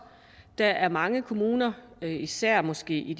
der er mange kommuner især måske i